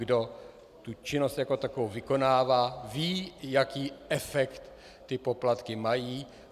Kdo tu činnost jako takovou vykonává, ví, jaký efekt ty poplatky mají.